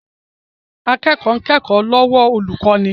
Akẹ́kọ̀ọ́ ń kẹ́kọ̀ọ́ lọ́wọ́ olùkọ́ni